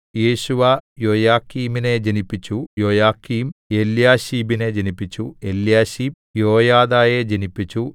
യേശുവ യോയാക്കീമിനെ ജനിപ്പിച്ചു യോയാക്കീം എല്യാശീബിനെ ജനിപ്പിച്ചു എല്യാശീബ് യോയാദയെ ജനിപ്പിച്ചു